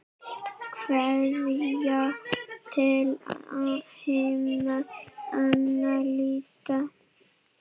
Kveðja til himna, Anna Lydía.